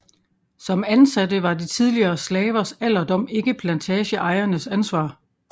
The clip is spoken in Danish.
Som ansatte var de tidligere slavers alderdom ikke plantageejernes ansvar